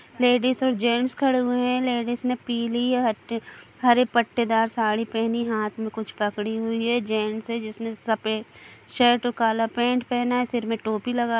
ladies और gents खड़े हुए हैं लेडिस ने पीली हटे-- हरे पट्टेदार साड़ी पहनी हाथ में कुछ पकड़ी हुई है जेंट्स है जिसने सफेद शर्ट और काला पेंट पहना है सिर में टोपी लगा--